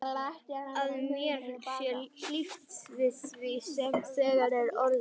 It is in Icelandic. Að mér sé hlíft við því sem þegar er orðið.